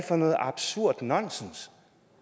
for noget absurd nonsens